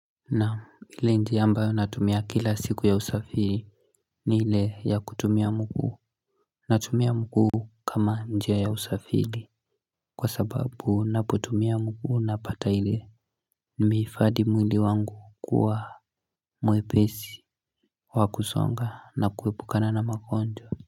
Naam ile njia ambayo natumia kila siku ya usafiri ni ile ya kutumia mguu. Natumia mguu kama njia ya usafili kwa sababu napotumia mguu napata ile Nimeifadi mwili wangu kuwa mwepesi wakusonga na kuepukana na magonjwa.